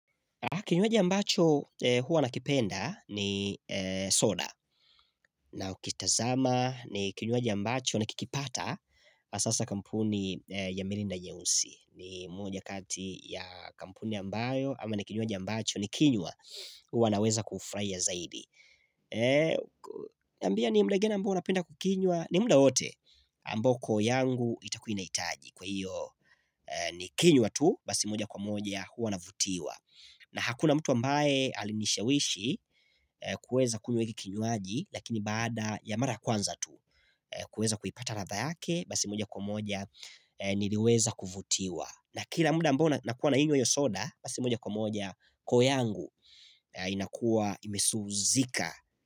Kinywaji ambacho huwa nakipenda ni soda na ukitazama ni kinywaji ambacho nikikipata hasaa kampuni ya mirinda nyeusi. Ni moja kati ya kampuni ambayo ama ni kinywaji ambacho nikinywa huwa naweza kufurahia zaidi. Niambie ni muda ngani ambao unapenda kukinywa ni muda wote ambayo koo yangu itakuwa inahitaji kwa hiyo ni kinywa tu basi moja kwa moja huwa na vutiwa. Na hakuna mtu ambaye alinishawishi kuweza kunywa hiki kinywaji, lakini baada ya mara kwanza tu, kuweza kuipata ladha yake, basi moja kwa moja niliweza kuvutiwa. Na kila muda ambao nakuwa nainywa hio soda, basi moja kwa moja koo yangu inakuwa imesuzika.